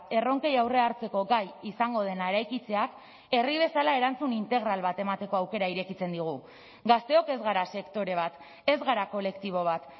erronkei aurrea hartzeko gai izango dena eraikitzeak herri bezala erantzun integral bat emateko aukera irekitzen diogu gazteok ez gara sektore bat ez gara kolektibo bat